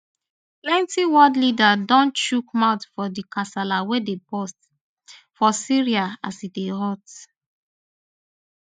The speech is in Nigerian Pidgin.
plenti world leaders don chook mouth for di kasala wey dey burst for syria as e dey hot